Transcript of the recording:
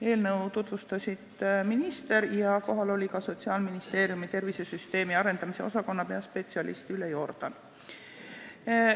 Eelnõu tutvustas minister ja kohal oli ka Sotsiaalministeeriumi tervisesüsteemi arendamise osakonna peaspetsialist Ülle Jordan.